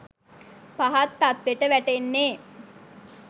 පහත් තත්වෙට වැටෙන්නේ